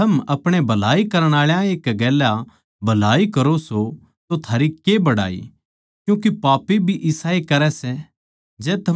जै थम अपणे भलाई करण आळा ए गेल्या भलाई करो सों तो थारी के बड़ाई क्यूँके पापी भी इसाए करै सै